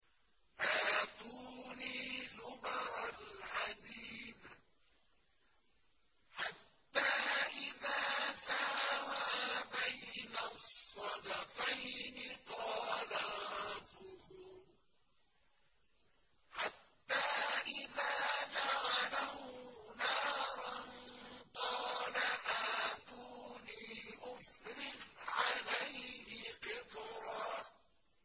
آتُونِي زُبَرَ الْحَدِيدِ ۖ حَتَّىٰ إِذَا سَاوَىٰ بَيْنَ الصَّدَفَيْنِ قَالَ انفُخُوا ۖ حَتَّىٰ إِذَا جَعَلَهُ نَارًا قَالَ آتُونِي أُفْرِغْ عَلَيْهِ قِطْرًا